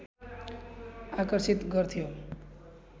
आकर्षित गर्थ्यो